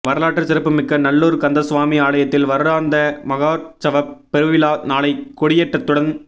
வரலாற்று சிறப்புமிக்க நல்லூர் கந்தசுவாமி ஆலயத்தின் வருடாந்த மகோற்சவப் பெருவிழா நாளை கொடியேற்றத்துடன்